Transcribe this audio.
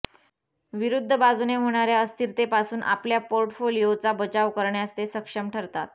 विरुद्ध बाजूने होणाऱ्या अस्थिरतेपासून आपल्या पोर्टफोलिओचा बचाव करण्यास ते सक्षम ठरतात